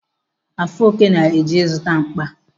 Afoke na-eje ịzụta mkpa.